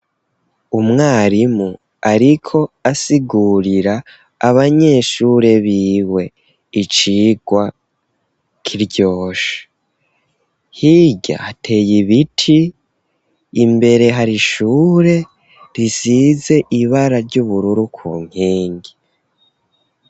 Umwarimu ariko asigurira abanyeshure biwe icigwa kiryoshe, hirya hateye ibiti imbere hari ishure risize ibara ry'ubururu ku nkingi.